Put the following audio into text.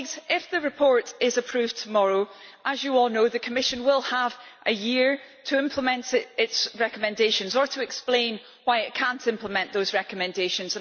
If the report is approved tomorrow, as you all know the Commission will have a year to implement its recommendations or to explain why it cannot implement those recommendations.